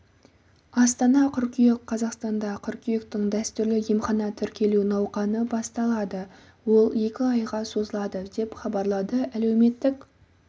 астана қыркүйек қазақстанда қыркүйектің дәстүрлі емханаға тіркелу науқаны басталады ол екі айға созылады деп хабарлады әлеуметтік